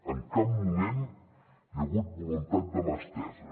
en cap moment hi ha hagut voluntat de mà estesa